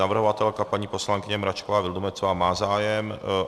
Navrhovatelka, paní poslankyně Mračková Vildumetzová má zájem?